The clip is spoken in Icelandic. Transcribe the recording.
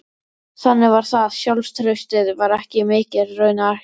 Þannig var það, sjálfstraustið var ekki mikið, raunar ekki neitt.